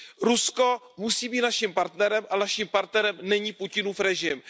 Rusko musí být naším partnerem, ale naším partnerem není Putinův režim.